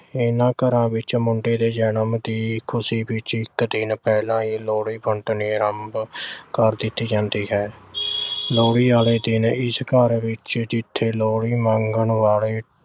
ਇਨ੍ਹਾਂ ਘਰਾਂ ਵਿੱਚ ਮੁੰਡੇ ਦੇ ਜਨਮ ਦੀ ਖੁਸ਼ੀ ਵਿੱਚ ਇੱਕ ਦਿਨ ਪਹਿਲਾਂ ਹੀ ਲੋਹੜੀ ਵੰਡਣੀ ਆਰੰਭ ਕਰ ਦਿੱਤੀ ਜਾਂਦੀ ਹੈ। ਲੋਹੜੀ ਆਲੇ ਦਿਨ ਇਸ ਘਰ ਵਿੱਚ ਜਿੱਥੇ ਲੋਹੜੀ ਮੰਗਣ ਵਾਲੇ